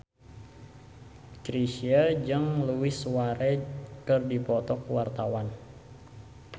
Chrisye jeung Luis Suarez keur dipoto ku wartawan